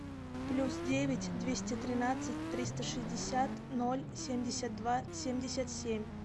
плюс девять двести тринадцать триста шестьдесят ноль семьдесят два семьдесят семь